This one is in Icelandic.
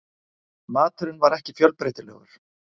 Maturinn var ekki fjölbreytilegur.